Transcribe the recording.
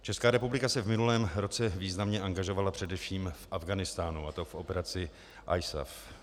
Česká republika se v minulém roce významně angažovala především v Afghánistánu, a to v operaci ISAF.